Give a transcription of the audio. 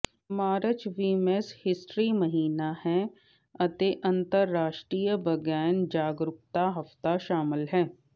March women's history ਮਹੀਨਾ ਹੈ ਅਤੇ ਅੰਤਰਰਾਸ਼ਟਰੀ ਬਰੇਨ ਜਾਗਰੂਕਤਾ ਹਫ਼ਤਾ ਸ਼ਾਮਲ ਹੈ